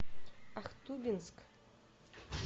ахтубинск